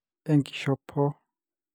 enkishopo